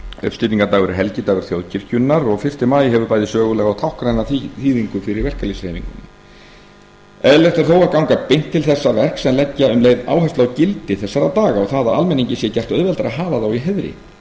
uppstigningardagur er helgidagur þjóðkirkjunnar og fyrsta maí hefur bæði sögulega og táknræna þýðingu fyrir verkalýðshreyfinguna eðlilegt er þó að ganga beint til þessa verks en leggja um leið áherslu á gildi þessara daga og það að almenningi sé gert auðveldara að hafa þá í heiðri